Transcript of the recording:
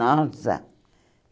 Nossa!